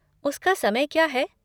उसका समय क्या है?